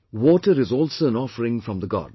Water is also an offering form the God